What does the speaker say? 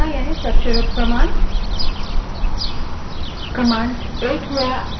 एक और महत्वपूर्ण चीज़ जो हमें समझनी चाहिए वह है commands की संरचना